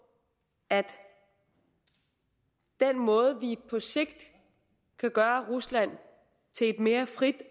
at den måde vi på sigt kan gøre rusland til et mere frit